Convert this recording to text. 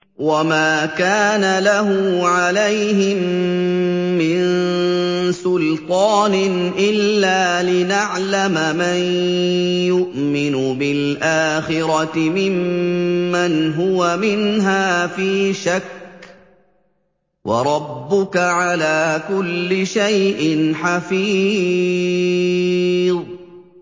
وَمَا كَانَ لَهُ عَلَيْهِم مِّن سُلْطَانٍ إِلَّا لِنَعْلَمَ مَن يُؤْمِنُ بِالْآخِرَةِ مِمَّنْ هُوَ مِنْهَا فِي شَكٍّ ۗ وَرَبُّكَ عَلَىٰ كُلِّ شَيْءٍ حَفِيظٌ